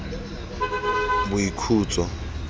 boikhutso